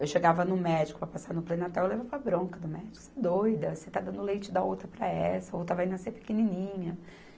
Eu chegava no médico para passar no pré-natal, eu levava bronca do médico, você é doida, você está dando leite da outra para essa, a outra vai nascer pequenininha.